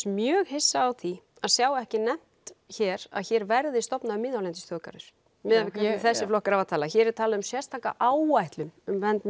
mjög hissa á því að sjá ekki nefnt hér að hér verði stofnaður miðhálendisþjóðgarður miðað við hvernig þessir flokkar hafa talað hér er talað um sérstaka áætlun um vernd